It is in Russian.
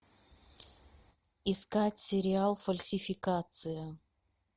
искать сериал фальсификация